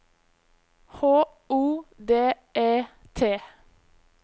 H O D E T